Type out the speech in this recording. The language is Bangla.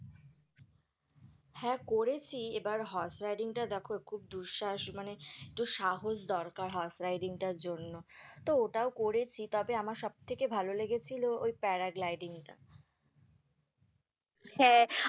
হ্যাঁ, করেছি এবার horse riding টা দেখো দুঃসাহস মানে একটু সাহস দরকার হয় horse riding টার জন্য, তো ওটাও করেছি তবে আমার সবথেকে লেগেছিলো ওই parad lighting টা হ্যাঁ।